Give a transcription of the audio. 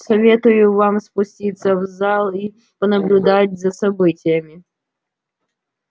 советую вам спуститься в зал и понаблюдать за событиями